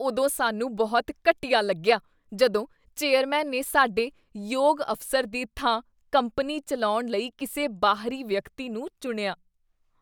ਉਦੋਂ ਸਾਨੂੰ ਬਹੁਤ ਘਟੀਆ ਲੱਗਿਆ ਜਦੋਂ ਚੇਅਰਮੈਨ ਨੇ ਸਾਡੇ ਯੋਗ ਅਫ਼ਸਰ ਦੀ ਥਾਂ ਕੰਪਨੀ ਚੱਲਾਉਣ ਲਈ ਕਿਸੇ ਬਾਹਰੀ ਵਿਅਕਤੀ ਨੂੰ ਚੁਣਿਆ।